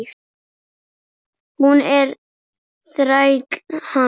Hún er þræll hans.